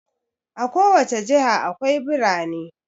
A ko wace jiha akwai birane.